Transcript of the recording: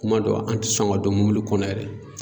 Kuma dɔ an ti sɔn ka don mɔbili kɔnɔ yɛrɛ.